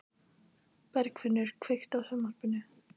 Bergfinnur, kveiktu á sjónvarpinu.